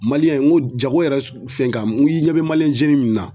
n ko jago yɛrɛ fɛnkan n ko i ɲɛ bɛ min na